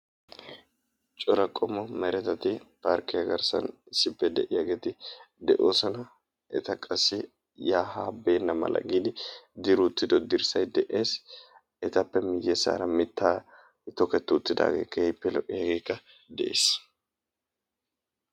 Cora qommo meretati parkkiya garssan isdippe de'iyaageti de'oosona. Eta qassi yaa haa beennamala giidi diri uttido dirssay de'ees. Etappe miyyesaara mittay toketti uttidaage keehippe lo'iyaagekka de'es.